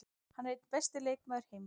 Hann er einn besti leikmaður heims.